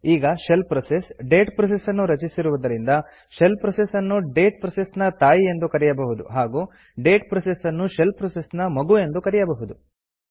ಈಗ shell process date process ನ್ನು ರಚಿಸಿರುವುದರಿಂದ ಶೆಲ್ ಪ್ರೋಸೆಸ್ ನ್ನು ಡೇಟ್ ಪ್ರೋಸೆಸ್ ನ ತಾಯಿ ಎಂದು ಕರೆಯಬಹುದು ಹಾಗೂ ಡೇಟ್ ಪ್ರೋಸೆಸ್ ನ್ನು ಶೆಲ್ ಪ್ರೋಸೆಸ್ ನ ಮಗು ಎಂದು ಕರೆಯಬಹುದು